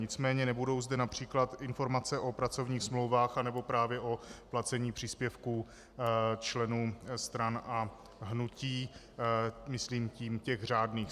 Nicméně nebudou zde například informace o pracovních smlouvách nebo právě o placení příspěvků členů stran a hnutí, myslím tím těch řádných.